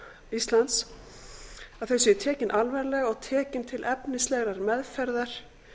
íslands séu tekin alvarlega og tekin til efnislegrar meðferðar